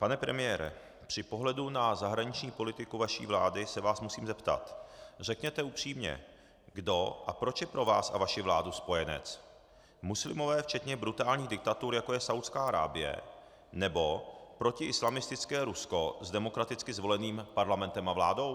Pane premiére, při pohledu na zahraniční politiku vaší vlády se vás musím zeptat, řekněte upřímně, kdo a proč je pro vás a vaši vládu spojenec - muslimové včetně brutálních diktatur, jako je Saúdská Arábie, nebo protiislamistické Rusko s demokraticky zvoleným parlamentem a vládou?